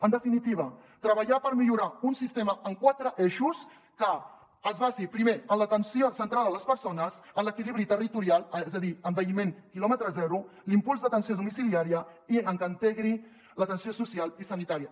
en definitiva treballar per millorar un sistema en quatre eixos que es basi primer en l’atenció centrada a les persones en l’equilibri territorial és a dir envelliment quilòmetre zero l’impuls d’atenció domiciliària i en què integri l’atenció social i sanitària